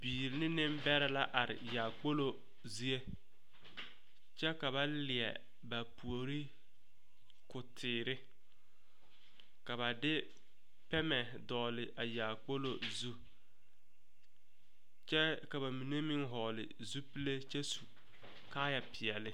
Bibiiri ne niŋbɛrɛ la are yaakpolo zie kyɛ ka ba leɛ ba puori ko teere ka ba de pɛmɛ a dɔgle a yaakpolo zu kyɛ ka bamine meŋ vɔgle zupile kyɛ su kaaya peɛle.